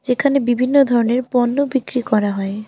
এখানে বিভিন্ন ধরনের পণ্য বিক্রি করা হয়।